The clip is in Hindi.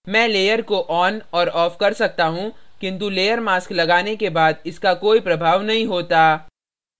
मैं layer को on और off कर सकता हूँ किन्तु layer mask लगाने के बाद इसका कोई प्रभाव नहीं होता